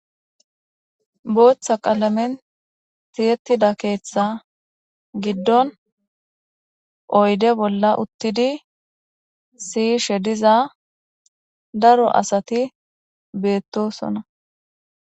Booththa qalamen tiyettida keeththa giddon oyde bolla uttidi siyishe diza daro asati beettosona.